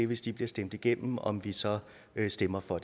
hvis de bliver stemt igennem om vi så stemmer for